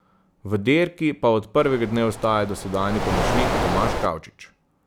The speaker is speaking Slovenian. V dirki pa od prvega dne ostaja dosedanji pomočnik Tomaž Kavčič.